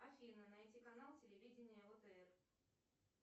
афина найди канал телевидения отр